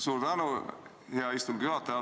Suur tänu, hea istungi juhataja!